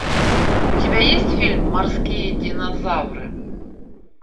у тебя есть фильм морские динозавры